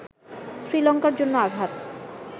শ্রীলঙ্কার জন্য আঘাত